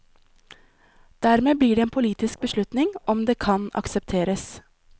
Dermed blir det en politisk beslutning om det kan aksepteres.